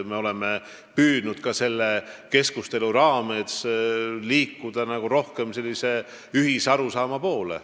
Me oleme püüdnud selle keskustelu raames liikuda rohkem ühise arusaama poole.